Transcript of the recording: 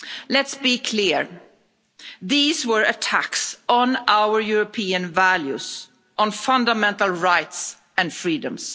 Let's be clear these were attacks on our European values, on fundamental rights and freedoms.